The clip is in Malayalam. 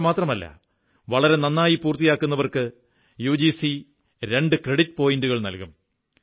ഇത്രമാത്രമല്ല വളരെ നന്നായി പൂർത്തിയാക്കുന്നവർക്ക് യുജിസി രണ്ട് ക്രെഡിറ്റ് പോയിന്റുകൾ നല്കും